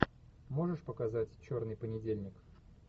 можешь показать черный понедельник